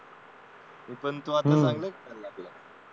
हो तो पण आता चांगला झाला